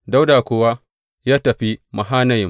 Dawuda kuwa ya tafi Mahanayim.